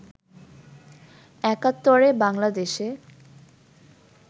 একাত্তরে বাংলাদেশে